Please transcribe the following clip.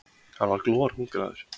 Hann var glorhungraður.